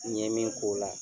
N yɛe min ko la